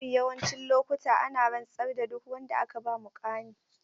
Mafi yawancin lokuta ana rantsar da duk wanda aka ba muƙami.